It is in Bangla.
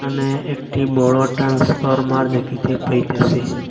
এখানে একটি বড় টান্সফরমার দেখিতে পাইতেসি।